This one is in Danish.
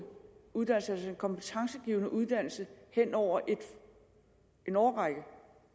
kompetencegivende uddannelse hen over en årrække